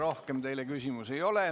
Rohkem teile küsimusi ei ole.